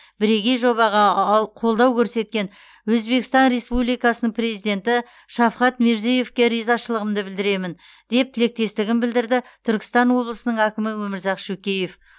бірегей жобаға аал қолдау көрсеткен өзбекстан республикасының президенті шавкат мирзиеевке ризашылығымды білдіремін деп тілектестігін білдірді түркістан облысының әкімі өмірзақ шөкеев